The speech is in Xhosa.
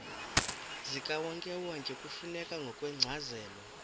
zikawonkewonke kufuneka ngokwencazelo